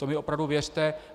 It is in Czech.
To mi opravdu věřte.